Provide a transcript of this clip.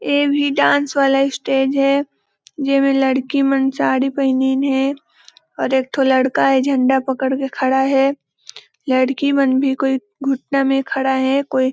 ए भी डांस वाला स्टेज हे जे में लड़की मन साड़ी पहिनीन हे एक ठो लड़का हे झंडा पकड़ के खड़ा है लड़की बन भी कोई घुटना में खड़ा हे कोई--